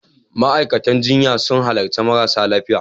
Ma'aikatan jinya sun halarci marasa lafiya.